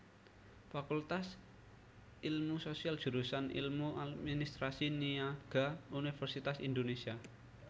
Fakultas Ilmu Sosial Jurusan Ilmu Administrasi Niaga Universitas Indonésia